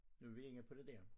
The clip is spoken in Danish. Nu vi inde på det dér